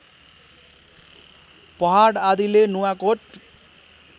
पहाड आदिले नुवाकोट